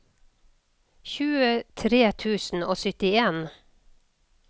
tjuetre tusen og syttien